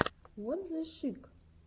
вот зе шик